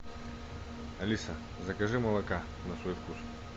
алиса закажи молока на свой вкус